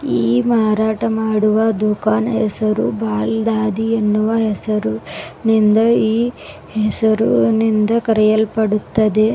ಈ ಮಾರಾಟ ಮಾಡುವ ದುಃಖಾನ್ ಹೆಸರು ಬಾಲ್ ದಾದಿ ಎನ್ನುವ ಹೆಸರು ನಿಂದು ಈ ಹೆಸರು ನಿಂದ ಕರೆಯಲ್ಪಡುತ್ತದೆ.